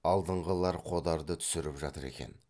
алдыңғылар қодарды түсіріп жатыр екен